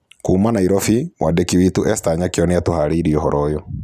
Kuuma Nairovi, mwandĩki witũ Ester Nyakĩo nĩ atũvarĩirie ũvoro ũyũ.